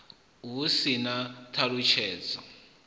hu si na u ṱalutshedza